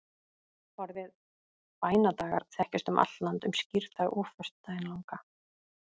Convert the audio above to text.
Orðið bænadagar þekkist um allt land um skírdag og föstudaginn langa.